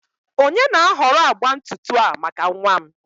onye na-ahọrọ agba ntutu a maka nwa m?